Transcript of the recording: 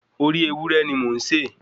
Orí ewúrẹ́ ni mò ń sè.